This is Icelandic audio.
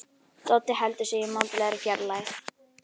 Doddi heldur sig í mátulegri fjarlægð.